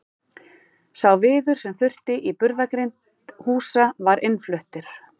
Sá viður sem þurfti í burðargrind húsa var innfluttur.